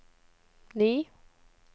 ni